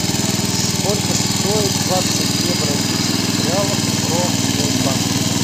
сколько стоит двадцать две бразильских реалов в промсвязьбанке